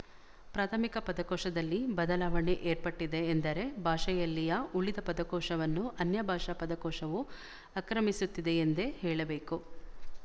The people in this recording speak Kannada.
ಪ್ರಾಥಮಿಕ ಪದಕೋಶದಲ್ಲಿ ಬದಲಾವಣೆ ಏರ್ಪಟ್ಟಿದೆ ಎಂದರೆ ಭಾಷೆಯಲ್ಲಿಯ ಉಳಿದ ಪದಕೋಶವನ್ನು ಅನ್ಯಭಾಷಾ ಪದಕೋಶವು ಆಕ್ರಮಿಸುತ್ತಿದೆಯೆಂದೇ ಹೇಳಬೇಕು